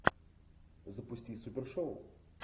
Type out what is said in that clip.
запусти супершоу